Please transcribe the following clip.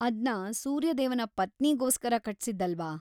ಅದ್ನ ಸೂರ್ಯದೇವನ ಪತ್ನಿಗೋಸ್ಕರ ಕಟ್ಸಿದ್ದಲ್ವಾ?